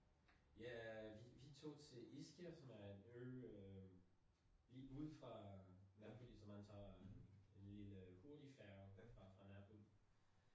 Ja vi vi tog til Ischia som er en ø øh lige ud fra Napoli så man tager lille hurtigfærge fra Napoli